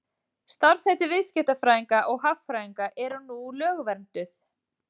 Starfsheiti viðskiptafræðinga og hagfræðinga eru nú lögvernduð.